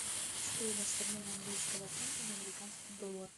стоимость обмена английского фунта на американский доллар